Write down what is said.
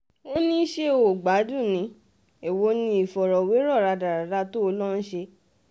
ó ní ṣé o ò gbádùn ní èwo ni ìfọ̀rọ̀wérọ̀ rádaràda tó o lọ ń ṣe